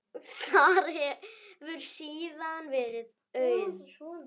Þar hefur síðan verið auðn.